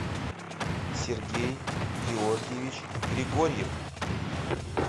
сергей георгиевич григорьев